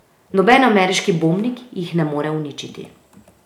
Noben ameriški bombnik jih ne more uničiti.